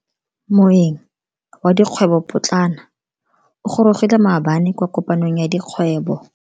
Moeng wa dikgwebo potlana o gorogile maabane kwa kopanong ya dikgwobo.